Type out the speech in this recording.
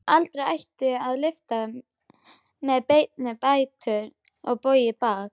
Aldrei ætti að lyfta með beina fætur eða bogið bakið.